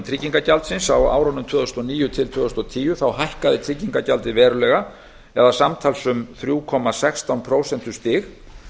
tryggingagjaldsins á árunum tvö þúsund og níu til tvö þúsund og tíu hækkaði tryggingagjaldið verulega samtals um þrjú komma sextán prósentustig